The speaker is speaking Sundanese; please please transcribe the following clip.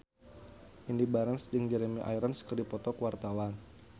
Indy Barens jeung Jeremy Irons keur dipoto ku wartawan